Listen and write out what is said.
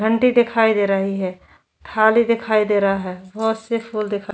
घंटी दिखाई दे रही है थाली दिखाई दे रहा है बहुत से फूल दिखाई --